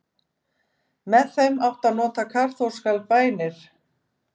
með þeim átti að nota kaþólskar bænir